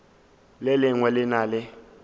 le lengwe le na le